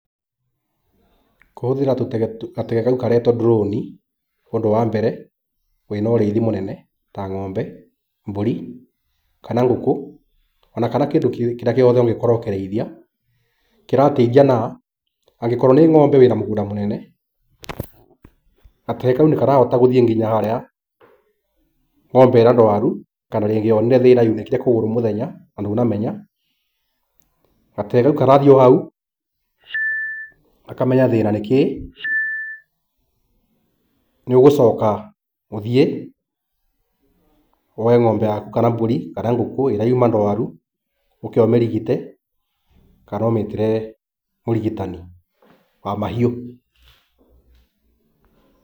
Kũhũthĩra gatege kau karetwo ndroni, ũndũ wa mbere wĩna ũrĩithi mũnene, ta ng’ombe, mburi kana ngũkũ ona kana kĩndũ kĩrĩa gĩothe ũngĩkorwo ũkĩrĩithia, kĩrateithia naa angĩkorwo nĩ ng’ombe wĩ na mũgũnda mũnene, gatege kau nĩkarahota gũthiĩ nginya harĩa ng’ombe ĩrĩa ndwaru kana rĩngĩ yoone thĩna, yunĩkĩte kũgũrũ mũthenya na ndũnamenya, gatege kau karathiĩ o hau gakamenya thĩĩna nĩ kĩĩ, niũgũcoka ũthiĩ, woye ng’ombe yaku, kana mbũri, kana ngũkũ ĩrĩa yuuma ndwaru, ũũke ũmĩrigite, kana ũmĩtĩre mũrigitani wa mahiũ.